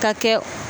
Ka kɛ